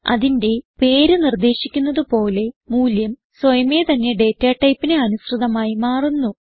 അതിന്റെ പേര് നിർദേശിക്കുന്നത് പോലെ മൂല്യം സ്വയമേ തന്നെ ഡേറ്റ ടൈപ്പിന് അനുസൃതമായി മാറുന്നു